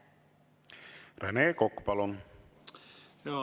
Rene Kokk, palun!